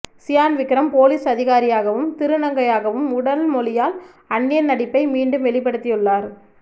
Chiyaan Vikram police அதிகாரியாகவும் திருநங்கையாகவும் உடல் மொழியால் அந்நியன் நடிப்பை மீண்டும் வெளிப்படுத்தியுள்ளார்